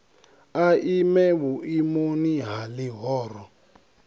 a ime vhuimoni ha ḽihoro